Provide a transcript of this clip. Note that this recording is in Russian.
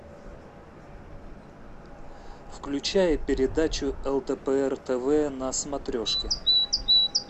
включай передачу лдпр тв на смотрешке